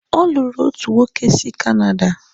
Ọ lụrụ otu nwoke si Canada.